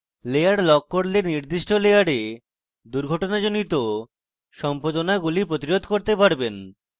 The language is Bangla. layer lock করলে আপনি নির্দিষ্ট layer দুর্ঘটনাজনিত সম্পাদনাগুলি প্রতিরোধ করতে পারবেন